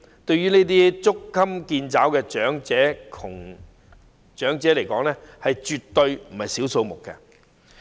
對於捉襟見肘的長者而言，這絕非小數目。